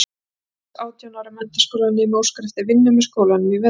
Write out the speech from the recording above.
Eldhress átján ára menntaskólanemi óskar eftir vinnu með skólanum í vetur.